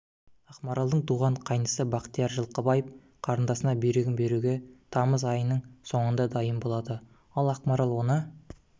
ақмаралдың туған қайнысы бақтияр жылқыбаев қарындасына бүйрегін беруге тамыз айының соңында дайын болады ал ақмарал оны